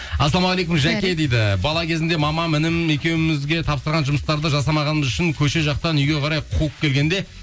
ассалаумағалейкум дейді бала кезімде мамам інім екеуімізге тапсырған жұмыстарды жасамағанымыз үшін көше жақтан үйге қарай қуып келгенде